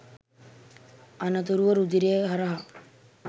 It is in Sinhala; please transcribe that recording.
අනතුරුව රුධිරය හරහා